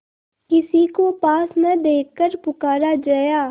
किसी को पास न देखकर पुकारा जया